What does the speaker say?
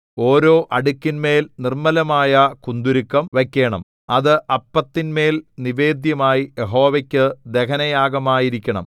ഓരോ അടുക്കിന്മേൽ നിർമ്മലമായ കുന്തുരുക്കം വയ്ക്കേണം അത് അപ്പത്തിന്മേൽ നിവേദ്യമായി യഹോവയ്ക്കു ദഹനയാഗമായിരിക്കണം